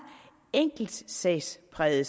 enkeltsagspræget